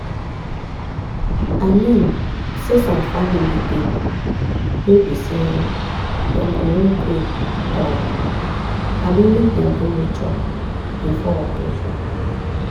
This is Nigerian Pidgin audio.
i mean saysome family dey wey be say dem go wan pray um abi make dem do ritual before operation.